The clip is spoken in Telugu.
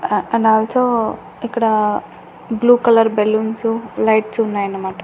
అ అండ్ ఆల్ సో ఇక్కడా బ్లూ కలర్ బెలూన్సు లైట్స్ ఉన్నాయనమాట.